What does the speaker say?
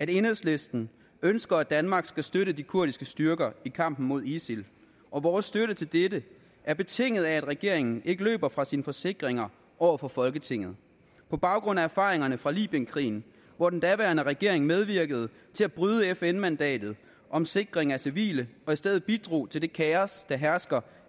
at enhedslisten ønsker at danmark skal støtte de kurdiske styrker i kampen mod isil og vores støtte til dette er betinget af at regeringen ikke løber fra sine forsikringer over for folketinget på baggrund af erfaringerne fra libyenkrigen hvor den daværende regering medvirkede til at bryde fn mandatet om sikring af civile og i stedet bidrog til det kaos der hersker